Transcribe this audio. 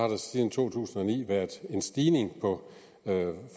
der siden to tusind og ni været en stigning på